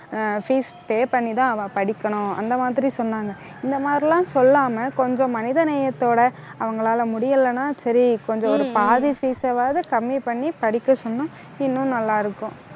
ஆஹ் fees pay பண்ணிதான் அவ படிக்கணும். அந்த மாதிரி சொன்னாங்க. இந்த மாதிரி எல்லாம் சொல்லாம, கொஞ்சம் மனித நேயத்தோட அவங்களால முடியலன்னா சரி கொஞ்சம் ஒரு பாதி fees ஆவது கம்மி பண்ணி படிக்க சொன்னா இன்னும் நல்லா இருக்கும்